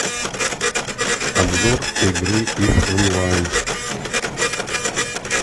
обзор игры иф онлайн